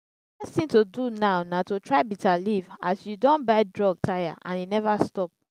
the best thing to do now na to try bitterleaf as you don buy drug tire and e never stop